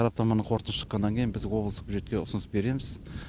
сараптаманың қорытындысы шыққаннан кейін біз облыстық бюджетке ұсыныс береміз